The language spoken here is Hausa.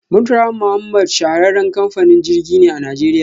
Murtala Muhammad shahararren kamfanin jirgi ne a najeriya.